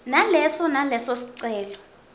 naleso naleso sicelo